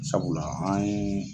Sabula an ye